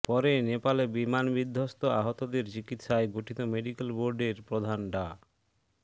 পরে নেপালে বিমান বিধ্বস্তে আহতদের চিকিৎসায় গঠিত মেডিক্যাল বোর্ডের বোর্ডের প্রধান ডা